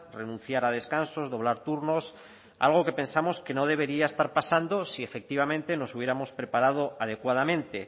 renunciar a descansos doblar turnos algo que pensamos que no debería estar pasando si efectivamente nos hubiéramos preparado adecuadamente